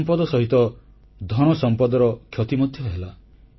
ଜନସମ୍ପଦ ସହିତ ଧନସମ୍ପଦର କ୍ଷତି ମଧ୍ୟ ହେଲା